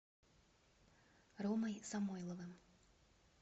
ромой самойловым